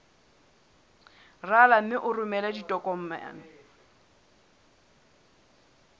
rala mme o romele ditokomene